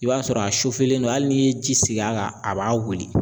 I b'a sɔrɔ a len no hali n'i ye ji sigi a kan a b'a wuli.